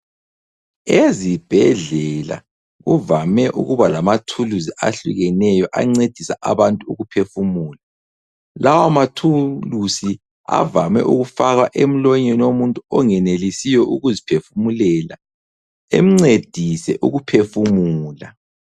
Ezibhedlela kuvame ukuba lamathuluzi ahlukeneyo ancedisa abantu ukuphefumula. Lawamathuluzi avame ukufakwa emlonyeni womuntu ongenelisiyo ukuziphefumulela, emncedise ukuphefumula.